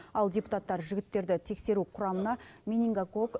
ал депутаттар жігіттерді тексеру құрамына менингокок